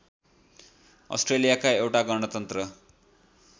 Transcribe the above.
अस्ट्रेलियाका एउटा गणतन्त्र